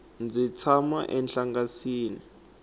ndzi tshama enhlangasini